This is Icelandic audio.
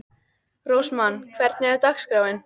Rósmann, hvernig er dagskráin?